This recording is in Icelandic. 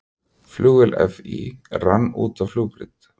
Flugvél FÍ rann út af flugbraut